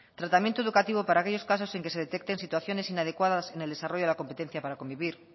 tratamiento educativo para aquellos casos en que se detecten situaciones inadecuadas en el desarrollo de la competencia para convivir